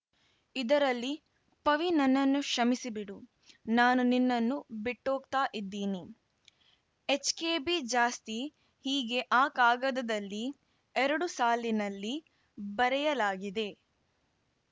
ಇದರಲ್ಲಿ ಪವಿ ನನ್ನನ್ನು ಕ್ಷಮಿಸಿ ಬಿಡು ನಾನು ನಿನ್ನನ್ನು ಬಿಟ್ಹೋಗ್ತಾ ಇದ್ದೀನಿ ಎಚ್‌ಕೆಬಿ ಜಾಸ್ತಿ ಹೀಗೆ ಆ ಕಾಗದಲ್ಲಿ ಎರಡು ಸಾಲಿನಲ್ಲಿ ಬರೆಯಲಾಗಿದೆ